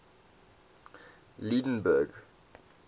lydenburg